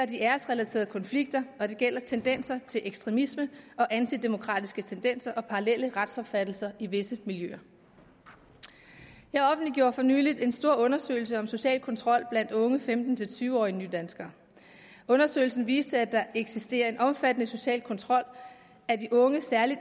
de æresrelaterede konflikter og det gælder tendenser til ekstremisme og antidemokratiske tendenser og parallelle retsopfattelser i visse miljøer jeg offentliggjorde for nylig en stor undersøgelse om social kontrol blandt unge femten til tyve årige nydanskere undersøgelsen viste at der eksisterer en omfattende social kontrol af de unge særlig